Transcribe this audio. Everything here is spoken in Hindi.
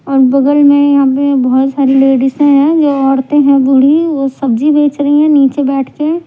और बगल में यहाँ पे बोहोत सारी लेडीज है ज औरते है बूढ़ी वो सब्जी बेच रही है नीचे बैठ के.